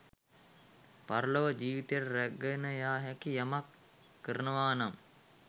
පරලොව ජීවිතයට රැගෙන යා හැකි යමක් කරනවා නම්